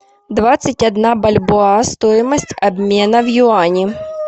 двадцать одна бальбоа стоимость обмена в юани